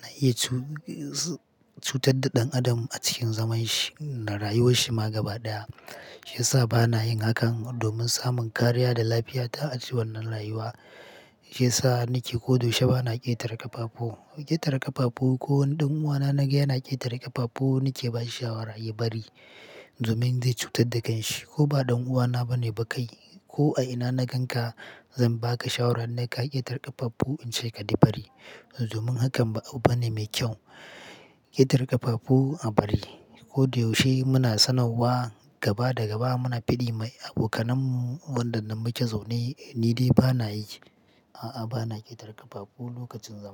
na iya cutar da ɗan adam a cikin zaman shi na rayuwar shi ma gaba ɗaya. Shiyasa bana yin hakan domin samun kariya da lafiya ta a cikin wannan rayuwa. Shiyasa nike ko da yaushe bana ƙetare ƙafafu. Ƙetare ƙafafu ko wani ɗan uwana na gani yana ƙetare ƙafafu nike bashi shawara ya bari domin zai cutar da kanshi. Ko ba ɗan uwana bane ba kai ko a ina na ganka zan baka shawara ne ka ƙetare ƙafafu in ce ka bari. Domin hakan ba abu bane mai kyau. Ƙetare ƙafafu a bari. Ko da yaushe muna sanarwa gaba da gaba muna fiɗi ma abokanan mu wadanda muke zaune ni dai bana yi. A'a bana ƙetare ƙafafu lokacin zama.